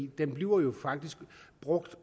den bliver faktisk brugt